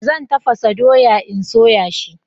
Zan tafasa dawa in soya shi